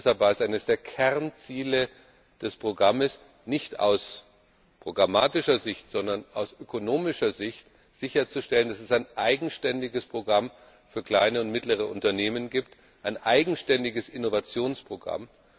Und deshalb war es eines der Kernziele des Programms, nicht aus programmatischer Sicht, sondern aus ökonomischer Sicht sicherzustellen, dass es ein eigenständiges Programm für kleine und mittlere Unternehmen gibt ein eigenständiges Innovationsprogramm.